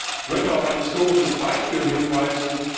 Ich möchte auf ein historisches Beispiel hinweisen.